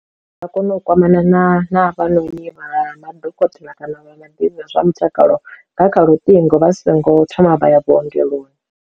U ya kona u kwamana na na havhanoni vha madokotela kana vha vhaḓivhi vha zwa mutakalo nga kha luṱingo vha songo thoma vha ya vhuongeloni.